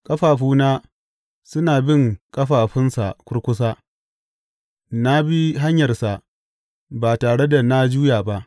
Ƙafafuna suna bin ƙafafunsa kurkusa; na bi hanyarsa ba tare da na juya ba.